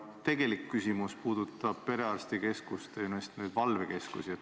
Ja tegelik küsimus puudutab perearstikeskuste valvekeskusi.